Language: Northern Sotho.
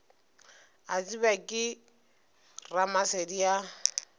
a tsebja ke ramasedi a